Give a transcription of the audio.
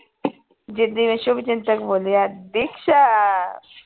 ਜਿਦਾ ਹੀ ਮੈਂ ਸ਼ੁਭਚਿੰਤਕ ਬੋਲੀ ਨਾ ਦੀਕਸ਼ਾ